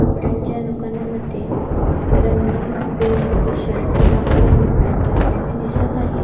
कपड्यांच्या दुकानामध्ये रंगीबेरंगी शर्ट लावले आणि पँट लावलेली दिसत आहे.